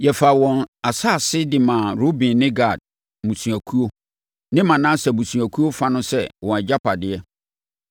Yɛfaa wɔn asase de maa Ruben ne Gad mmusuakuo ne Manase abusuakuo fa no sɛ wɔn agyapadeɛ.